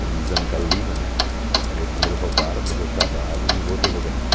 Como diz Ana Carolina né, meu dinheiro roubaram, mas eu trabalho e um outro eu vou ganhar.